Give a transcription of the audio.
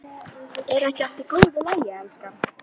Er ekki allt í góðu lagi, elskan?